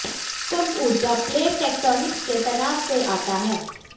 भूकंप ऊर्जा plate tectonics के तनाव से आता है